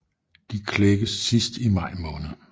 De klækkes sidst i maj måned